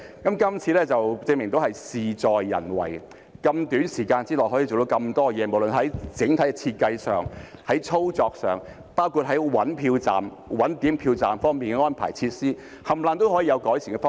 今次便證明事在人為，在這麼短的時間內可以做到那麼多事情，不論是在整體設計上、操作上，包括在尋找投票站、點票站及有關的安排和設施，各方面也有改善的方向。